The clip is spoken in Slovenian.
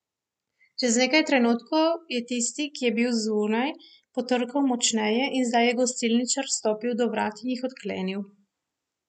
Čez nekaj trenutkov je tisti, ki je bil zunaj, potrkal močneje in zdaj je gostilničar stopil do vrat in jih odklenil.